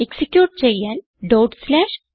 execute ചെയ്യാൻ struct